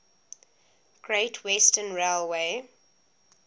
great western railway